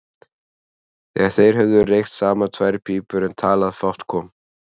Þegar þeir höfðu reykt saman tvær pípur en talað fátt kom